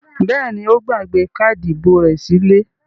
Bẹ́ẹ̀ ni, ó gbàgbé káádì ìbò rẹ̀ sílé.